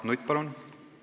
Mart Nutt, palun!